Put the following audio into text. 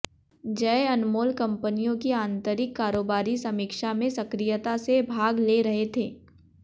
जय अनमोल कंपनियों की आंतरिक कारोबारी समीक्षा में सक्रियता से भाग ले रहे थे